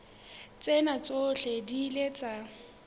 tsena tsohle di ile tsa